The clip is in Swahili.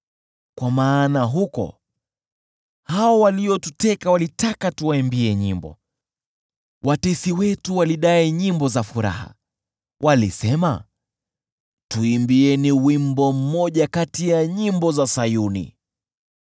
kwa maana huko hao waliotuteka walitaka tuwaimbie nyimbo, watesi wetu walidai nyimbo za furaha; walisema, “Tuimbieni wimbo mmoja kati ya nyimbo za Sayuni!”